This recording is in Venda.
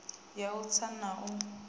ya u tsa na u